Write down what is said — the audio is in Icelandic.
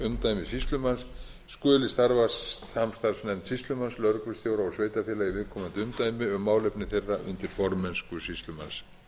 umdæmi sýslumanns skuli starfa samstarfsnefnd sýslumanns lögreglustjóra og sveitarfélaga í viðkomandi umdæmi um málefni þeirra undir formennsku sýslumanns